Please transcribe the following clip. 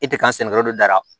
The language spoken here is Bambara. E tɛ kan sɛnɛ yɔrɔ de da